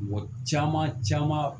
Mɔgɔ caman caman